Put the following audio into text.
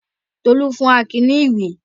Tolú fún Akin ní ìwé.